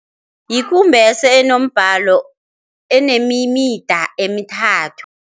Yikumbese enombalo, enemimida emithathu.